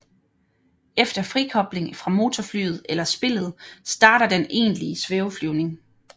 Efter frikobling fra motorflyet eller spillet starter den egentlige svæveflyvning